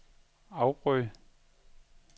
afbryd